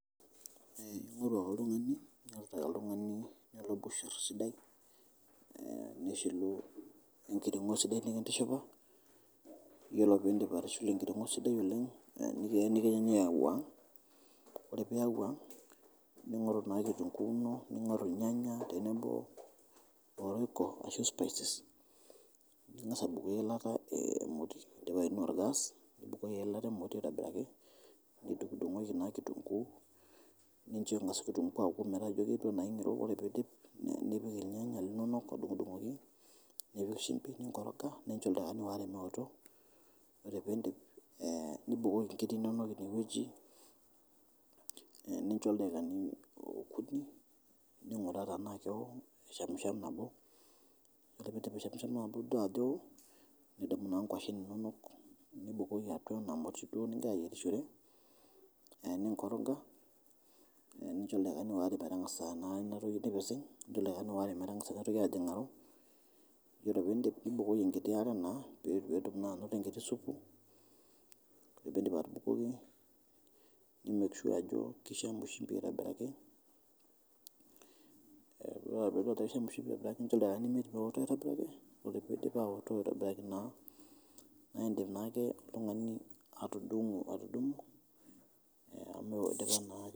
Ing'oru ake oltungani olokushur sidai nishilu engiring'o sidai nikintishipa, iyolo piindip atushulu engiring'o sidai noleng nikenyi aiwang',ore peyie iwang' ning'oru naa kitunguu inoningoru lnyanya tenebo o royco ashu spices ,ning'as abukoki ilata moti indipa aing'ua olgas ,nibukoki ilata moti aitobiraki nidung'dung'oki naa kitunguu nincho engas kitunguu aaku metaa ketiu anaa keng'iroo ore peidip nipik ilnyanya linonok adung'dung'oki nipik shumpi ninkoroga nincho ldakikani aare meoto, ore piindip nibukoki inkiri inonok ine weji nincho ldakikabi okuni ning'uraa tena keowo aishamsham nabo, oro pishamshama nitodua ajo eo nidumu naa ngoshen inonok nibukoki atua ena moti duo nitii ayerishore ninche ldakikani oare metangasa naa inatoki ajing'aro, iyolo piindip nibukoki nkiti are naa peetum naa anoto enkiti supu ,ore piindip atubukoki ni make sure ajo keishamu shumpi aitobiraki, ore peaku eishamu shumpi nincho ldakokani imiet meoto aitobiraki, ore peidip aoto aitobiraki naa iindim naake ltungani atudumu amu eidipa naake.